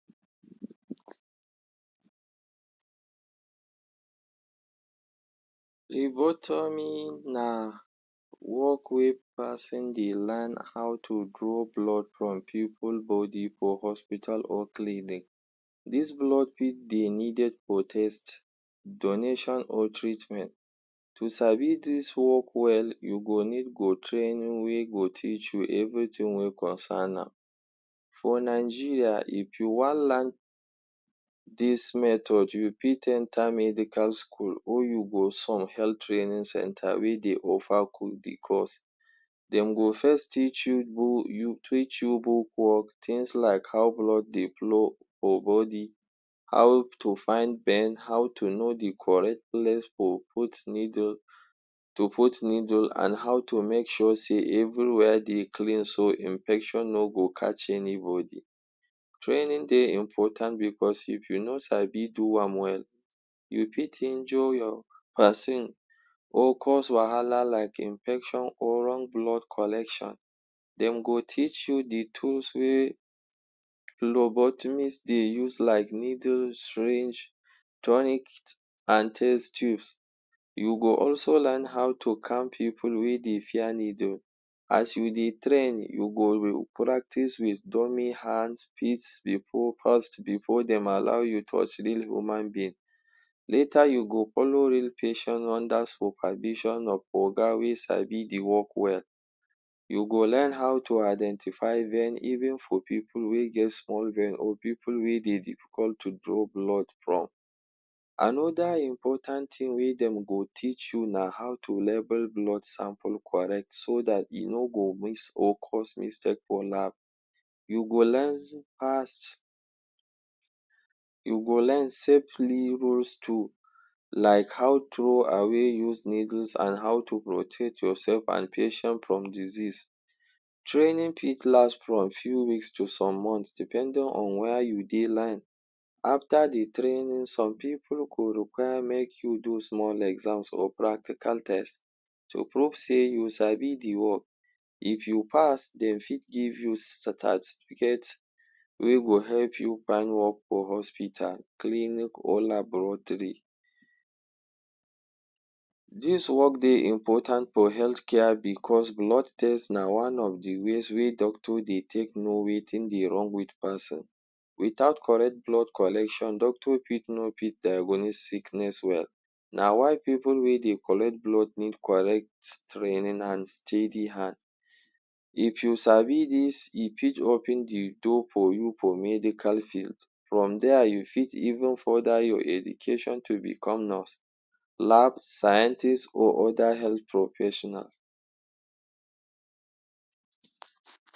Phlebotomy na work wey pason dey learn how to draw blood from pipu body for hospital or clinic. Dis blood fit dey needed for test, donation or treatment. To sabi dis work well, you go need go training wey go teach you everything wey concern am. For Nigeria, if you wan lan dis method, you fit enter medical school or you go some health training centre wey dey offer the course. Dem go first teach you teach you book work, tins like how blood dey flow for body, how to find vein, how to know the correct place for put needle, to put needle, an how to make sure sey everywhere dey clean so infection no go catch anybody. Training dey important becos if you no sabi do am well, you fit injure your pason or cause wahala like infection or wrong blood collection. Dem go teach you the tools wey Phlebotomist dey use like needle, syringe, tonic an test tubes. You go also learn how to calm pipu wey dey fear needle. As you dey train, you go practice with dummy hands, feets, before first before dem allow you touch real human being. Later you go follow real patient under supervision of oga wey sabi the work well. You go learn how to identify vein even for pipu wey get small vein or pipu wey dey difficult to draw blood from. Another important tin wey dem go teach you na how to label blood sample correct so dat e no go miss or cause mistake for lab. You go learn. You go learn safely rules too like how throw away use needles an how to protect yoursef an patient from disease. Training fit last from few weeks to some months depending on where you dey lan. After the training, some pipu go require make you do small exams or practical test to prove sey you sabi the work. If you pass, dem fit give you certificate wey go help you find work for hospital, clinic or laboratory. Dis work dey important for health care because blood test na one of the ways wey doctor dey take know wetin dey wrong with pason. Without correct blood collection, doctor fit no fit diagnose sickness well. Na why pipu wey dey collect blood need correct training an steady hand. If you sabi dis, e fit open the door for you for medical field. From there, you fit even further your education to become nurse, lab scientist or other health professionals.